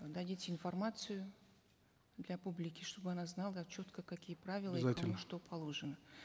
дадите информацию для публики чтобы она знала четко какие правила обязательно что положено